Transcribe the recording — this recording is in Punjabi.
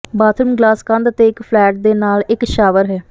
ਬਾਥਰੂਮ ਗਲਾਸ ਕੰਧ ਅਤੇ ਇੱਕ ਫਲੈਟ ਦੇ ਨਾਲ ਇੱਕ ਸ਼ਾਵਰ ਹੈ